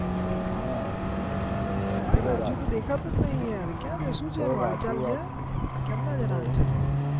હા ભાઈ રાજુ તો દેખતો જ નઈ યાર દેખાતો જ નઈ યાર